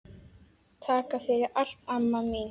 Takk fyrir allt, amma mín.